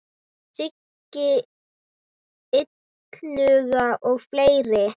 Siggi Illuga og fleiri.